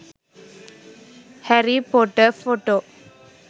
harry pottor photo